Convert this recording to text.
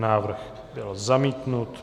Návrh byl zamítnut.